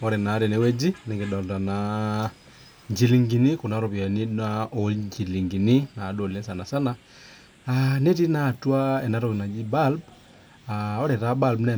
Ore naa tenewueji njilingini Kuna ropiani oo njillingini naa sanisana netii naa atua enatoki naaji bulb ore taa bulb naa